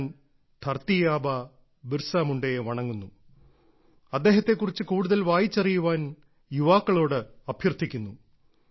ഞാൻ ധർത്തി ആബ ബിർസ മുണ്ടയെ വണങ്ങുന്നു അദ്ദേഹത്തെ കുറിച്ച് കൂടുതൽ വായിച്ചറിയാൻ യുവാക്കളോട് അഭ്യർത്ഥിക്കുന്നു